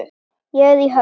Ég er í höfn.